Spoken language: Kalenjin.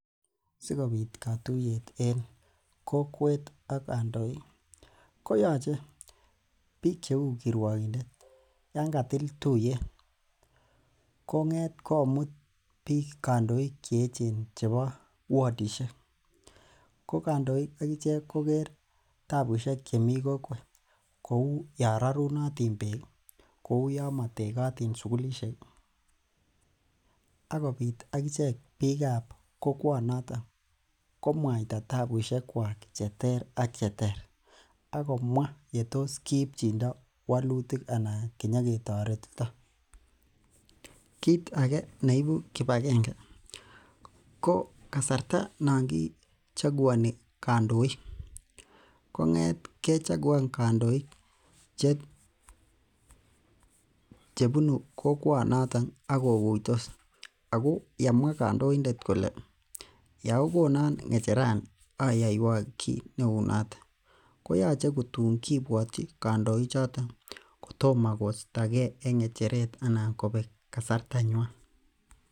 Sikobit kotuyet en kokwet ak kondoik bik cheuu kirwokindet Yoon katil tuyeet kong'et komut bik kondoik cheechen chebo wodishiek ko kandoik akichek koker tabushek chemi kokwet kouu Yoon rorunotin bek kouu Yoon matekotin sukulisiek akobiit akichek vikab kokwan noton komuaita tabushek kwok cheter ak cheter Ako mwaa yetos kiibchin ndo wolitik anan kinyoketoret. Kit age neibu kibakenge ko kasarta nongi chokuani kandoik kong'et kechakuan kandoik chebunu kokwan noton ak kokuitos Ako yamwa kandoindet kole yeokonon ng'echaerani ayaiwok kit neono koyoche ko tuun kibuotyi kandochoton kotomo koistake en ng'echeret anan kobek kasarta nyuan.